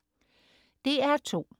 DR2: